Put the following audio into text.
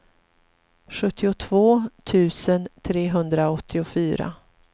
sjuttiotvå tusen trehundraåttiofyra